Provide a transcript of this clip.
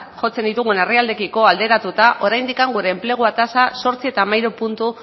jotzen ditugun herrialdeekiko alderatuta oraindik gure enplegu tasa zortzi koma hamairu puntu